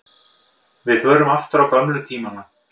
Við förum aftur á gömlu tímana.